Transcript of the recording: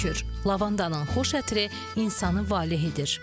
Lavandanın xoş ətri insanı valeh edir.